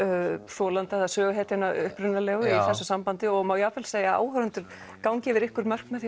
þolanda eða söguhetjunnar upprunalegu í þessu sambandi og má jafnvel segja að áhorfendur gangi yfir einhver mörk með því